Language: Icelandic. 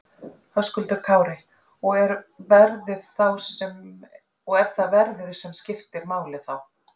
Höskuldur Kári: Og það er verðið sem skiptir máli þá?